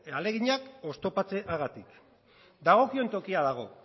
ahaleginak oztopatzeagatik dagokion tokian dago